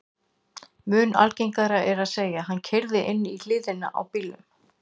Mun algengara er að segja: Hann keyrði inn í hliðina á bílnum